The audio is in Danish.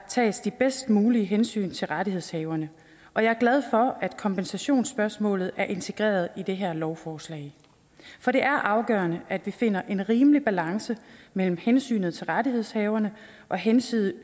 tages de bedst mulige hensyn til rettighedshaverne og jeg er glad for at kompensationsspørgsmålet er integreret i det her lovforslag for det er afgørende at vi finder en rimelig balance mellem hensynet til rettighedshaverne og hensynet